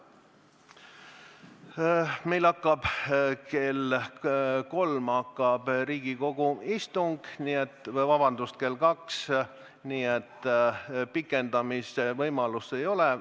Meil hakkab kell kaks Riigikogu istung, nii et pikendamise võimalust ei ole.